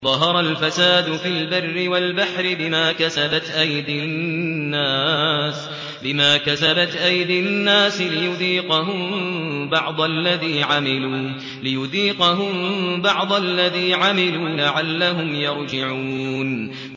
ظَهَرَ الْفَسَادُ فِي الْبَرِّ وَالْبَحْرِ بِمَا كَسَبَتْ أَيْدِي النَّاسِ لِيُذِيقَهُم بَعْضَ الَّذِي عَمِلُوا لَعَلَّهُمْ يَرْجِعُونَ